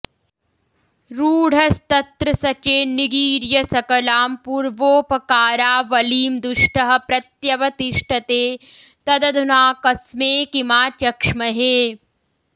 रूढस्तत्रस चेन्निगीर्य सकलां पूर्वोपकारावलीं दुष्टः प्रत्यवतिष्टते तदधुना कस्मे किमाचक्ष्महे